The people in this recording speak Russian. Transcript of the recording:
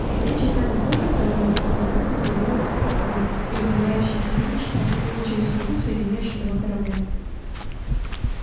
тремя часами позже второй торговый корабль приблизился вплотную и ухмыляющийся юноша проследовал через трубу соединяющую два корабля